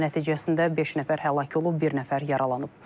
Qəza nəticəsində beş nəfər həlak olub, bir nəfər yaralanıb.